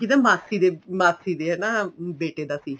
ਕਿਹਦਾ ਮਾਸੀ ਮਾਸੀ ਦੇ ਹਨਾ ਬੇਟੇ ਦਾ ਸੀ